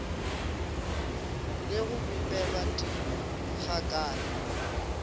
le go bipelwa di gakale